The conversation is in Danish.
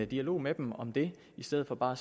dialog med dem om det i stedet for bare